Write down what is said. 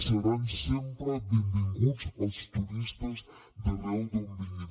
seran sempre benvinguts els turistes d’arreu d’on vinguin